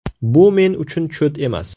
Bu men uchun cho‘t emas.